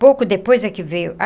Pouco depois é que veio.